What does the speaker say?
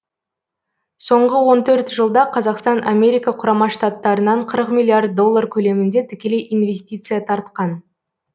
соңғы он төрт жылда қазақстан америка құрама штаттарынан қырық миллиард доллар көлемінде тікелей инвестиция тартқан